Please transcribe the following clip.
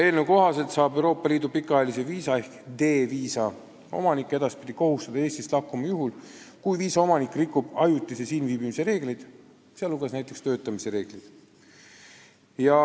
Eelnõu kohaselt saab Euroopa Liidu pikaajalise viisa ehk D-viisa omanikku edaspidi kohustada Eestist lahkuma juhul, kui viisaomanik rikub ajutise siin viibimise reegleid, näiteks töötamise reegleid.